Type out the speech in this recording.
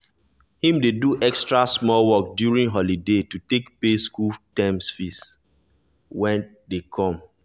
him dey do extra small work during holiday to take pay school term fees wey dey come.